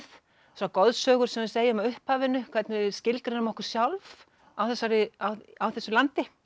þessar goðsögur sem við segjum af upphafinu hvernig við skilgreinum okkur sjálf á á þessu landi